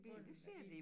Bunden af bilen